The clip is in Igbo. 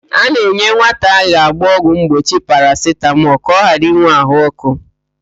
A na-enye nwata a ga-agba ọgwụ mgbochi parasitamọl ka ọ ghara ịnwe ahụ ọkụ.